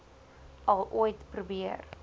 al ooit probeer